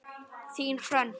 Þín, Hrönn.